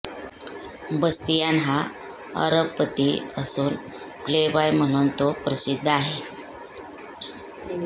Bastian हा अरबपती असून प्लेबॉय म्हणून तो प्रसिद्ध आहे